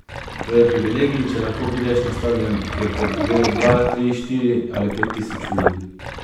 To je privilegij, če lahko prideš na štadion, kjer te gleda dva, tri, štiri ali pet tisoč ljudi.